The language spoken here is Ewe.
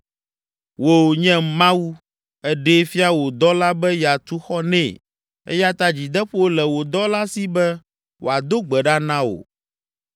“Wò, nye Mawu, èɖee fia wò dɔla be yeatu xɔ nɛ eya ta dzideƒo le wò dɔla si be wòado gbe ɖa na wò.